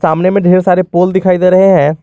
सामने में ढेर सारे पोल दिखाई दे रहे हैं।